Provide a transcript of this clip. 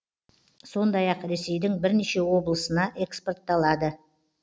сондай ақ ресейдің бірнеше облысына экспортталады